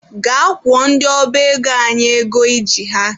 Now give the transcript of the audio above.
Gaa kwụọ ndị ọba ego anyị ego I ji ha!.